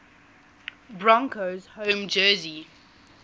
broncos home jersey